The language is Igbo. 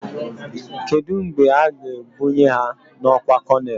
Kedụ mgbe a ga ebnuyi ha n'ọkwá konel?